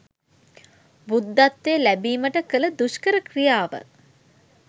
බුද්ධත්වය ලැබීමට කළ දුෂ්කර ක්‍රියාව